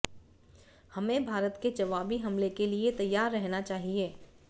हमें भारत के जवाबी हमले के लिए तैयार रहना चाहिए